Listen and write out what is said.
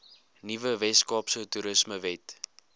nuwe weskaapse toerismewet